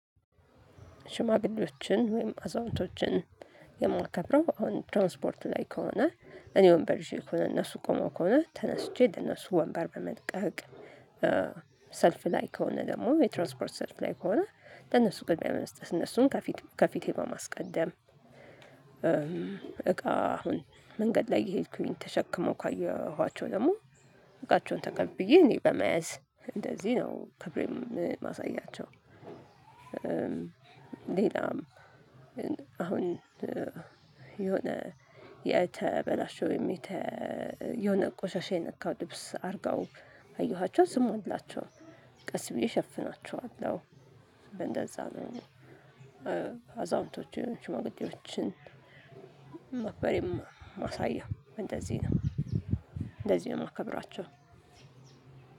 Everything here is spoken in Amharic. ሽማግሌዎችን ወይም አዛውንቶችን የማከብረው አሁን ትራንስፖርት ላይ ከሆነ እኔ ወንበር ይዤ ከሆነ እነሱ ቆመው ከሆነ ተነስቼ ለነሱ ወንበር በመልቀቅ። ሰልፍ ላይ ከሆነ ደግሞ የትራንስፖርት ሰልፍ ላይ ከሆነ ለነሱ ቅድሚያ በመስጠት እነሱን ከፊት ከፊቴ በማስቀደም። እቃ አሁን መንገድ ላይ እየሄድኩኝ ተሸክመው ካየኋቸው ደግሞ እቃቸውን ተቀብዬ እኔ በመያዝ እንደዚህ ነው ክብሬን ማሳያቸው። ሌላም አሁን የሆነ የተበላሸው የተ የሆነ ቆሻሻ የነካው ልብስ አድርገው ካየኋቸው ዝም አልላቸው ቀስ ብዬ ሸፍናቸዋለሁ። እንደዛ ነው። አዛውንቶ ሽማግሌዎችን መክበሬን ማሳያ እንደዚህ ነው። እንደዚህ ነው የማከብራቸው።